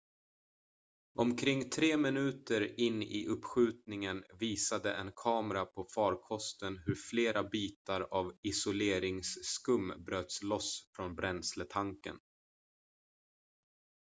omkring 3 minuter in i uppskjutningen visade en kamera på farkosten hur flera bitar av isoleringsskum bröts loss från bränsletanken